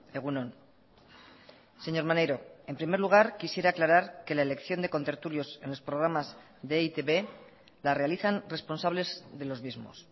egun on señor maneiro en primer lugar quisiera aclarar que la elección de contertulios en los programas de e i te be la realizan responsables de los mismos